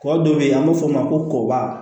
Kɔ dɔ bɛ yen an b'a fɔ o ma ko kɔba